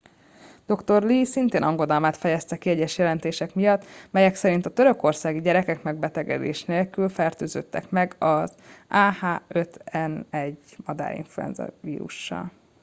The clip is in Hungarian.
dr. lee szintén aggodalmát fejezte ki egyes jelentések miatt melyek szerint a törökországi gyerekek megbetegedés nélkül fertőződtek meg az ah 5 n 1 madárinfluenza vírussal